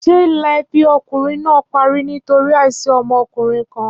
Ṣé ìlà ẹbí ọkùnrin náà parí nítorí àìsí ọmọkùnrin kan?